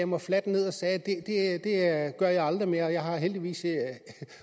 mig fladt ned og sagde det gør jeg aldrig mere og jeg har heldigvis